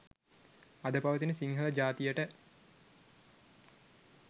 අද පවතින සිංහල ජාතියට